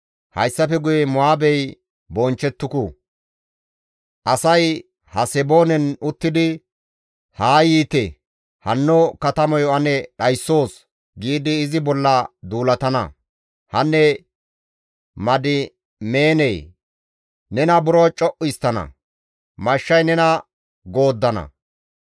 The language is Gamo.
Hayssafe guye Mo7aabey bonchchettuku; asay Haseboonen uttidi, ‹Haa yiite! Hanno katamayo ane dhayssoos› giidi izi bolla duulatana. Hanne Madimeenee! Nena buro co7u histtana; mashshay nena gooddana.